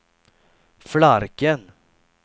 Flarken